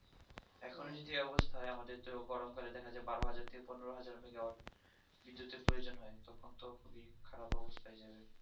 এখন ও যদি এই অবস্থা হয় আমাদের তো গরম কালে দেখা যাবে বারোহাজার থেকে পনেরোহাজার megawatt থেকে বিদ্যুতের প্রয়োজন হয় তখন তো খুবই খারাপ অবস্থায় হয়ে যাই